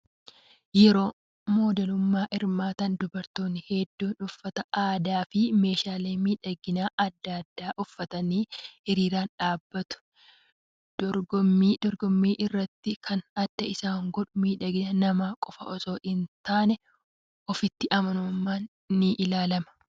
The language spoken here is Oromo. Yeroo modeelummaa hirmaatan dubartoonni hedduun uffata aadaa fi meeshaalee miidhaginaa adda addaa uffatanii hiriiraan dhaabbatu. Dorgommii irrattis kan adda isa godhu miidhagina namaa qofaa osoo hin taane ofitti amanamummaanis ni ilaalama.